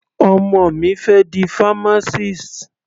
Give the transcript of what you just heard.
Ọmọ mi fẹ́ di pharmacist.